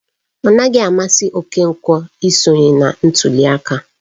Ọnaghị amasị Okonkwo isonye na ntuli aka.